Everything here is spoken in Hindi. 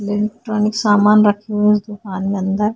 लेनट्रोनिक्स समान रखे हुए हैं उस दुकान में अंदर।